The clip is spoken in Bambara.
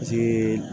Jiii